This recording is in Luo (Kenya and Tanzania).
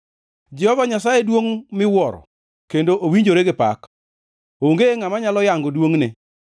Jehova Nyasaye duongʼ miwuoro kendo owinjore gi pak, onge ngʼama nyalo yango duongʼne.